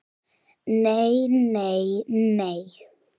Nei, nei, nei.